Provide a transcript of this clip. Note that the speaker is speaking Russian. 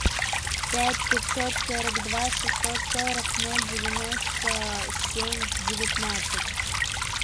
пять пятьсот сорок два шестьсот сорок ноль девяносто семь девятнадцать